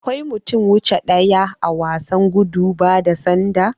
Akwai mutum wuche daya a wasan gudu bada sanda.